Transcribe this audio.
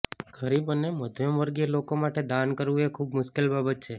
ગરીબ અને મધ્યમવર્ગીય લોકો માટે દાન કરવુ એ ખુબ મુશ્કેલ બાબત છે